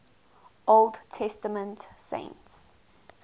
old testament saints